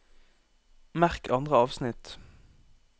Merk andre avsnitt